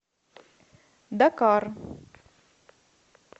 дакар